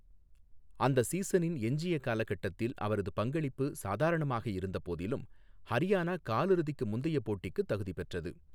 அந்த சீசனின் எஞ்சிய காலகட்டத்தில் அவரது பங்களிப்பு சாதாரணமாக இருந்தபோதிலும், ஹரியானா காலிறுதிக்கு முந்தைய போட்டிக்குத் தகுதி பெற்றது.